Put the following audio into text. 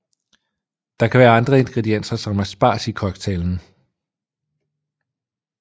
Der kan være andre ingredienser som asparges i cocktailen